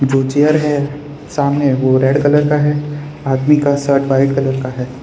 दो चेयर है सामने वो रेड कलर का है आदमी का शर्ट व्हाइट कलर का है।